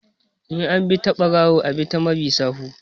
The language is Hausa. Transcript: In an bi ta ɓarawo a ɓi ta mabi sawu